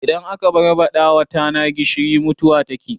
Idan aka barbaɗawa tana gishiri mutuwa take